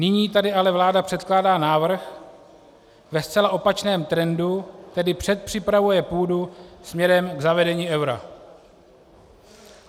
Nyní tady ale vláda předkládá návrh ve zcela opačném trendu, tedy předpřipravuje půdu směrem k zavedení eura.